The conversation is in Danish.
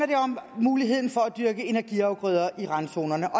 det om muligheden for at dyrke energiafgrøder i randzonerne og